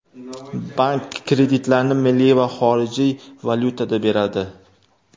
Bank kreditlarni milliy va xorijiy valyutada beradi.